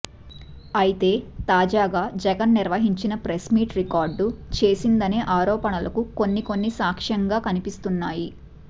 అయితే తాజాగా జగన్ నిర్వహించిన ప్రెస్ మీట్ రికార్డు చేసిందనే ఆరోపణలకు కొన్ని కొన్ని సాక్ష్యం గా కనిపిస్తున్నాయి